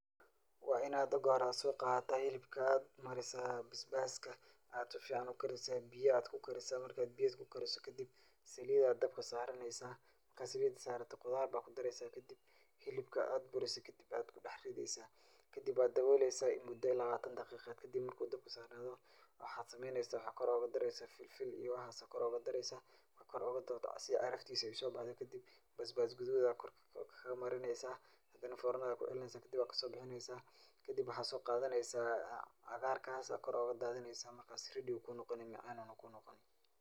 Waad inaad marka hore aad soo qaadata hilibka aad marisaa bisbaska, aad si fican ukarisaa, biya aad kukarisaa, marki aad biya kukariso, kadib saliid ayaa dabka saaraneysa, markaa saliida saarato qudaar baa kudareysa, kadib hilibka aad burise, kadib aad kudex rideysa, kadib waa dawoleysa muda lawaatan daqiiqo kadib markuu dabka saarnado, waxaa sameeneysa waxaa kor ooga dareysa filfil iyo waxaas ayaa kor ooga dareysa, marka kor ooga darto si aay caraftiisa usoo baxdo, kadib basbas gaduud ayaa kor kamarineysa, hadana foornada kucilineysa, kadib waa kasoo bixineysa, kadib waxaa soo qadaneysa cagaarkaas aa kor ooga dadineysa [ready] ayuu kuu noqoni macaan ayuu noqoni.